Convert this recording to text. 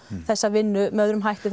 þessa vinnu með öðrum hætti